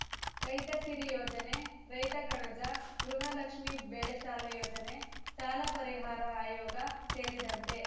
ರೈತ ಸಿರಿ ಯೋಜನೆ ರೈತ ಕಣಜ ಗೃಹಲಕ್ಷ್ಮಿ ಬೆಳೆಸಾಲ ಯೋಜನೆ ಸಾಲ ಪರಿಹಾರ ಆಯೋಗ ಸೇರಿದಂತೆ